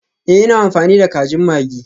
Ee, ina amfani da kajin maggi.